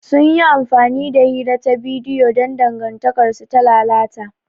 Sun yi amfani da hira ta bidiyo don dangantakarsu ta lalata.